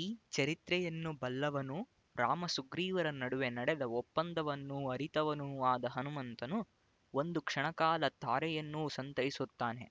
ಈ ಚರಿತ್ರೆಯನ್ನು ಬಲ್ಲವನೂ ರಾಮಸುಗ್ರೀವರ ನಡುವೆ ನಡೆದ ಒಪ್ಪಂದವನ್ನು ಅರಿತವನೂ ಆದ ಹನುಮಂತನು ಒಂದು ಕ್ಷಣಕಾಲ ತಾರೆಯನ್ನು ಸಂತೈಸುತ್ತಾನೆ